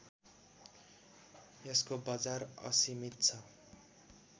यसको बजार असीमित छ